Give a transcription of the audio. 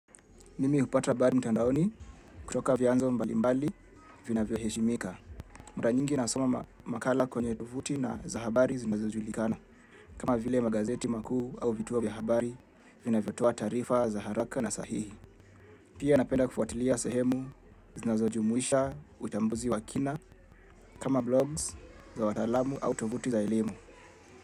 Mimi hupata habari mtandaoni kutoka vyanzo mbalimbali vinavyoheshimika. Mara nyingi nasoma makala kwenye tovuti na za habari zinazojulikana. Kama vile magazeti makuu au vituo vya habari vinavyotoa taarifa za haraka na sahihi. Pia napenda kufuatilia sehemu zinazojumuisha uchambuzi wa kina kama blogs za wataalamu au tovuti za elimu.